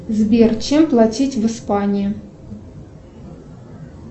сбер чем платить в испании